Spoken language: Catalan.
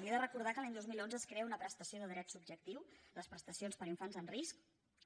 li he de recordar que l’any dos mil onze es crea una prestació de dret subjectiu les prestacions per a infants en risc